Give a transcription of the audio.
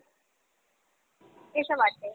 এসব আছে।